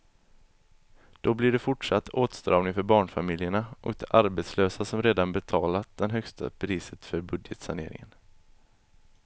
Då blir det fortsatt åtstramning för barnfamiljerna och de arbetslösa som redan betalat det högsta priset för budgetsaneringen.